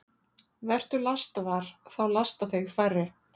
Vertu lastvar – þá lasta þig færri.